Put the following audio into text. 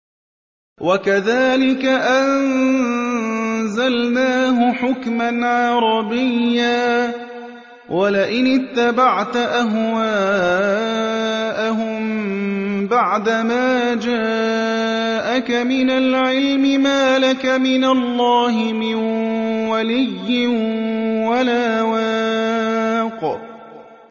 وَكَذَٰلِكَ أَنزَلْنَاهُ حُكْمًا عَرَبِيًّا ۚ وَلَئِنِ اتَّبَعْتَ أَهْوَاءَهُم بَعْدَمَا جَاءَكَ مِنَ الْعِلْمِ مَا لَكَ مِنَ اللَّهِ مِن وَلِيٍّ وَلَا وَاقٍ